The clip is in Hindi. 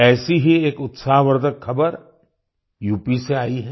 ऐसी ही एक उत्साहवर्धक खबर यूपी से आई है